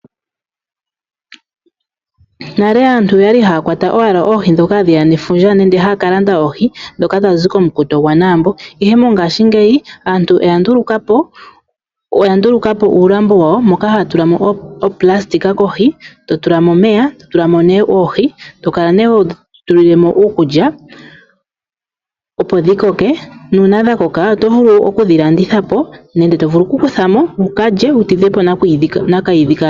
Nale aantu oyali haya kwata owala oohi ndhoka hadhiya nefundja nenge haya kalanda oohi ndhoka dhazi komukuto gwaaNaambo iihe mongashingeyi aantu oya nduluka po uualambo wawo moka haya tulamo oonayilona kohi totulamo omeya totulamo be oohi, tokala ne hodhitulilemo uukulya opo dhikoke nuuna dhakoka otovulu okudhilandithapo nenge tovulu okukuthamo wuulye wutidhepo nakiidhi kahalwenya.